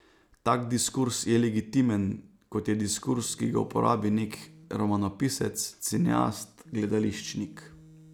Tak diskurz je legitimen, kot je diskurz, ki ga uporabi neki romanopisec, cineast, gledališčnik ...